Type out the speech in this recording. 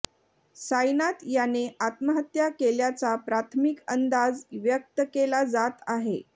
साईनाथ याने आत्महत्या केल्याचा प्राथमिक अंदाज व्यक्त केला जात आहे